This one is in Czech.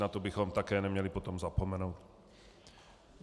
Na to bychom také neměli potom zapomenout.